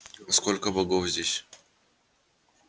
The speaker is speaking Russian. а сколько богов здесь